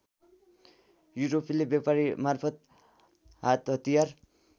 युरोपेली व्यापारीमार्फत् हातहतियार